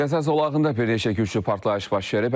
Qəza zolağında bir neçə güclü partlayış baş verib.